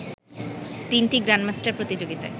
তিনটি গ্র্যান্ডমাস্টার প্রতিযোগিতায়